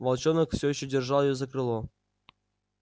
волчонок все ещё держал её за крыло